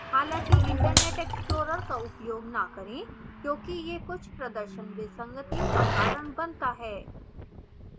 हालांकि internet explorer का उपयोग न करें क्योंकि यह कुछ प्रदर्शन विसंगतियों का कारण बनता है